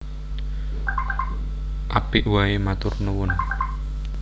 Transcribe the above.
Apik waé matur nuwun